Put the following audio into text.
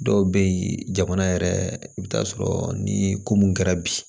Dɔw bɛ yen jamana yɛrɛ i bɛ taa sɔrɔ ni ko mun kɛra bi